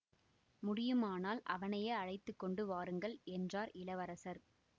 முடியுமானால் அவனையே அழைத்து கொண்டு வாருங்கள் என்றார் இளவரசர்